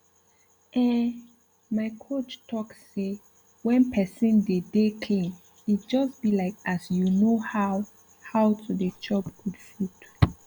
ehn my coach talk say when pesin dey dey clean e just bi like as you know how how to dey chop good food